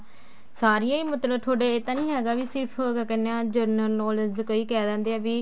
ਸਾਰੀਆਂ ਹੀ ਮਤਲਬ ਤੁਹਾਡੇ ਇਹ ਤਾਂ ਨੀ ਹੈਗਾ ਵੀ ਕੇ ਸਿਰਫ ਕੀ ਕਹਿਨੇ ਹਾਂ journal knowledge ਚ ਕਈ ਕਹਿ ਦਿੰਦੇ ਆ ਵੀ